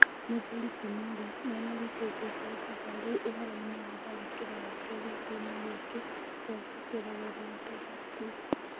Mũthurĩ ti Mworia nĩ ararutite itangatho rĩu ũhoroinĩ wa tharĩkĩro ya kerĩ kiumĩa gĩkĩ, kũhetũkĩra rũrenda rwa tuita.